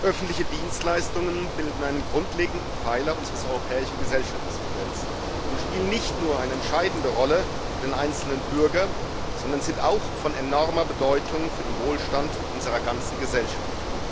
Öffentliche Dienstleistungen bilden einen grundlegenden Pfeiler unseres europäischen Gesellschaftsmodells und spielen nicht nur eine entscheidende Rolle für den einzelnen Bürger, sondern sind auch von enormer Bedeutung für den Wohlstand unserer ganzen Gesellschaft.